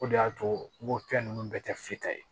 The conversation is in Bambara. O de y'a to n ko fɛn ninnu bɛɛ tɛ f'i ta ye